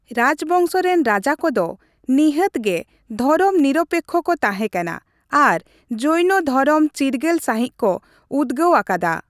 ᱨᱟᱡᱽᱵᱚᱝᱥᱚ ᱨᱮᱱ ᱨᱟᱡᱟ ᱠᱚᱫᱚ ᱱᱤᱦᱟᱹᱛ ᱜᱮ ᱫᱷᱚᱨᱚᱢ ᱱᱤᱨᱚᱯᱮᱠᱷᱚ ᱠᱚ ᱛᱟᱦᱮᱸᱠᱟᱱᱟ ᱟᱨ ᱡᱚᱹᱭᱱᱚ ᱫᱷᱚᱨᱚᱢ ᱪᱤᱨᱜᱟᱹᱞ ᱥᱟᱺᱦᱤᱡ ᱠᱚ ᱩᱫᱽᱜᱟᱹᱣ ᱟᱠᱟᱫᱟ ᱾